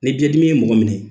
Ni biɲɛ dimi ye mɔgɔ minɛ